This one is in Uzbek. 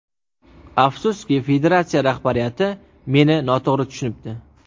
Afsuski, federatsiya rahbariyati meni noto‘g‘ri tushunibdi .